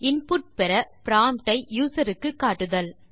input பெற prompt ஐ user க்கு கட்டுதல்